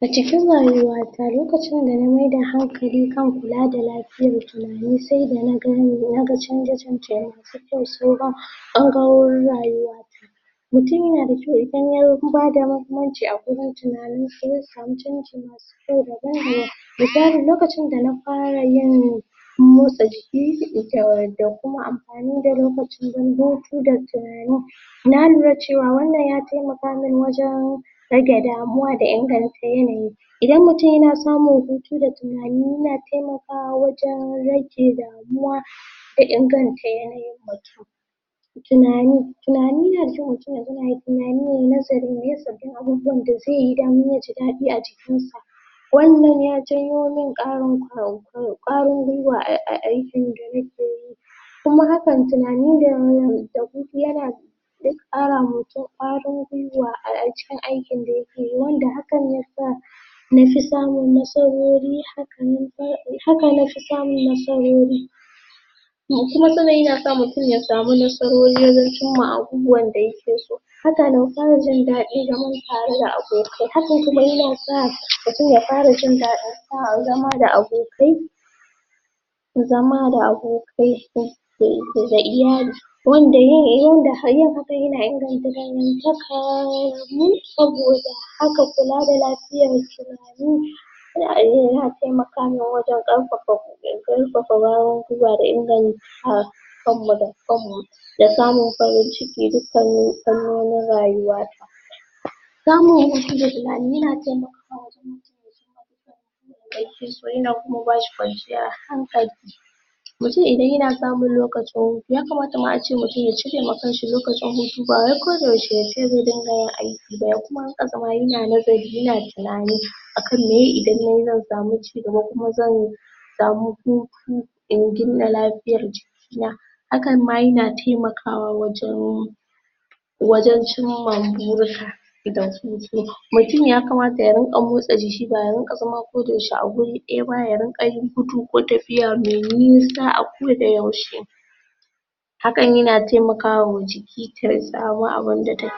A cikin rayuwa ta lokacin da na mai da hankali kan kula da lafiyar tunani sai dana gane, naga canje canje masu kyau sauran ɓangarorin rayuwa ta mutum yana da kyau idan yayi duba da mahimmanci a wurin tunanin shi zai sami canji masi kyau daban daban misalin lokacin dana fara yin motsa jiki da da kuma amfani da lokaci dan hutu da tunani na lura cewa wannan ya taimaka min wajan rage damuwa da inganta yanayi idan mutum yana samun hutu da tunani yana taimakawa wajan rage damuwa da inganta yanayin mutum tunani, tunani na da kyau mutum ya zauna yayi tunani yayi nazari maye sabbin abubauwan da zaiyi domin yaji daɗi a jikin shi wajan ya janyo min ƙarin kwa kwa kwarin gwiwa a aikin da nake yi kuma haka, tunani da wan hutu yana zai ƙara wa mutum ƙwarin gwiwa a a cikin aikin da yake yi wanda hakan yasa nafi samun nasarori, hakan nan dai haka nafi samun nasarori kuma sannan yana sa mutum ya samu nasarori wajan cimma abubuwan yake so hakan fara jin daɗin zaman tare da abokai, hakan nan kuma sa mutum ya fara jin sa zaman da abokai zama da abokai um da da iyali wanda yin yin hakan yana ingantakamu saboda haka kula da lafiyar tunani um ya taimaka min wajan ƙarfafa, ƙarfafakwarin gwiwa da inganta kamu da kamu da samun farin cikin duk kannin fannonin rayuwata samu hutu da tunani yana taimakawa wajan um fiso yan kuma bashi kwanciyar hankali mutum idan yana samun lokacin hutu, yakamata ma ace mutum ya cirewa kansa lokacin hutu, ba wai koda yaushe yace zai dunga yin aiki ba, ya kuma dunga zaman yana nazari yana tunani, akan meye idan nayi zan sami cigaba ko kuma zan sami hutu in gina lafiyar jiki na hakan ma yana taimakawa wajan wajan cimma burika da hutu, mutum yakamata ya dinga motsa, ba ya dinga zama koda yaushe a wuri ɗay ba, ya dunga yin gudu ko tafiya mai nisa a koda yaushe hakan yana taiamakawa jiki ta sami abunda take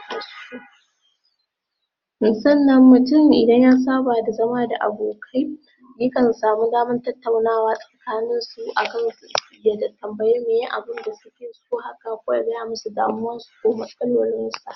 so sannan mutum idan ya saba da zama da abokai yakan sani damar tattaunawa tsakanin su akan, yiya tambayi meye abinda suke so haka ko ya gaya musu damuwarsu ko matsalolin sa.